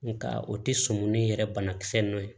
Nga o tɛ sɔmi ni yɛrɛ banakisɛ ninnu ye